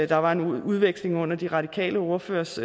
der var nogle udvekslinger under den radikale ordførers